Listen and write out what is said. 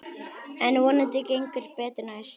En vonandi gengur betur næst.